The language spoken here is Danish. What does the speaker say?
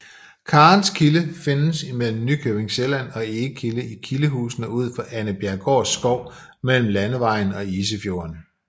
Karens Kilde findes imellem Nykøbing Sjælland og Egebjerg i Kildehusene ud for Annebjerggårds Skov mellem Landevejen og Isefjorden